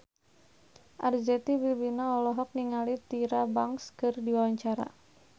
Arzetti Bilbina olohok ningali Tyra Banks keur diwawancara